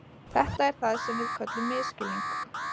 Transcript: Þetta er það sem við köllum misskilning.